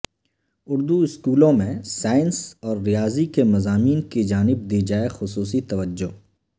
اردواسکولوں میں سائنس اور ریاضی کے مضامین کی جانب دی جائے خصوصی توجہ